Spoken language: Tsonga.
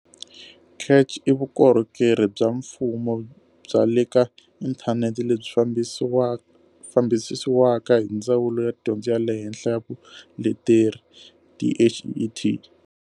CACH i vukorhokeri bya mfumo bya le ka inthanete lebyi fambisiwaka hi Ndzawulo ya Dyondzo ya le Henhla na Vuleteri, DHET.